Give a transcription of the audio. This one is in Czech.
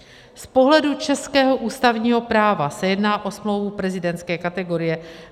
Z pohledu českého ústavního práva se jedná o smlouvu prezidentské kategorie.